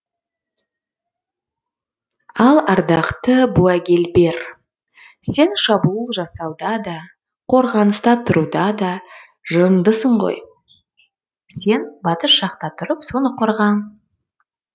ал ардақты буагильбер сен шабуыл жасауда да қорғаныста тұруда да жырындысың ғой сен батыс жақта тұрып соны қорға